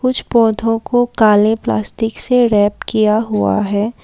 कुछ पौधों को काले प्लास्टिक से रैप किया हुआ है।